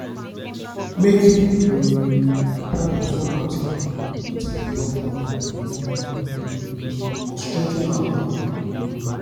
make um i plan a fun outing with my loved one e um go strengthen our bond um